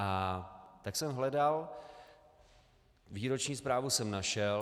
A tak jsem hledal, výroční zprávu jsem našel.